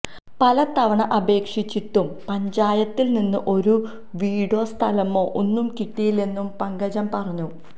പല തവണ അപേക്ഷിച്ചിട്ടും പഞ്ചായത്തിൽ നിന്ന് ഒരു വീടോ സ്ഥലമോ ഒന്നും കിട്ടിയില്ലെന്നും പങ്കജം പറഞ്ഞു